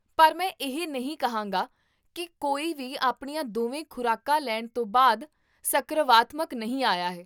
ਪਰ ਮੈਂ ਇਹ ਨਹੀਂ ਕਹਾਂਗਾ ਕੀ ਕੋਈ ਵੀ ਆਪਣੀਆਂ ਦੋਵੇਂ ਖ਼ੁਰਾਕਾਂ ਲੈਣ ਤੋਂ ਬਾਅਦ ਸਕਰਵਾਤਮਕ ਨਹੀਂ ਆਇਆ ਹੈ